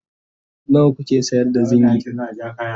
nawa kuke sayar da zingi?